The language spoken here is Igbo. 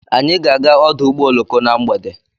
Anyị ga-aga ọdụ ụgbọ oloko na mgbede